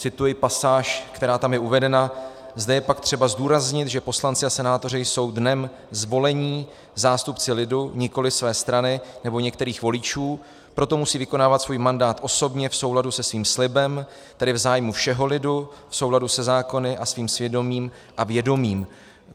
Cituji pasáž, která tam je uvedena: "Zde je pak třeba zdůraznit, že poslanci a senátoři jsou dnem zvolení zástupci lidu, nikoliv své strany nebo některých voličů, proto musí vykonávat svůj mandát osobně, v souladu se svým slibem, tedy v zájmu všeho lidu, v souladu se zákony a svým svědomím a vědomím."